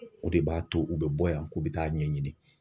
O de b'a to u bɛ bɔ yan ko bɛ taa ɲɛɲini.